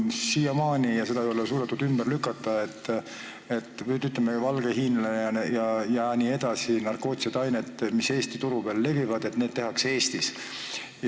Siiamaani ei ole suudetud ümber lükata seda kahtlust, et valget hiinlast ja muid narkootilisi aineid, mis Eesti turul levivad, tehakse Eestis.